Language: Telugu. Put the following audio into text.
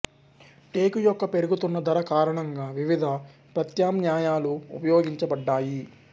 టేకు యొక్క పెరుగుతున్న ధర కారణంగా వివిధ ప్రత్యామ్నాయాలు ఉపయోగించబడ్డాయి